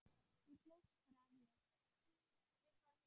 Þú hlóst bara að mér.